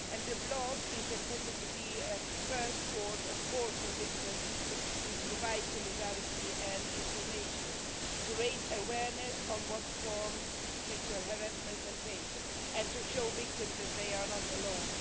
The blog is intended to be a first port of call for victims, to provide solidarity and information, to raise awareness on what forms sexual harassment can take and to show victims that they are not alone.